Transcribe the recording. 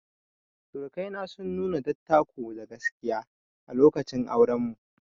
Sirikai na sun nuna dattako da gaskiya a lokacin auren mu.